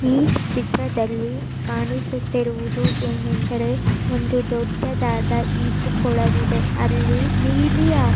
ಚಿತ್ರದಲ್ಲಿ ಕಾಣಿಸುತ್ತಿರುವುದು ಏನೆಂದರೆ ಒಂದು ದೊಡ್ಡದಾದ ಈಜುಕೊಳವಿದೆ. ಅಲ್ಲಿ ನೀಲಿ --